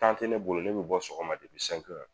tɛ ne bolo ne bɛ bɔ sɔgɔma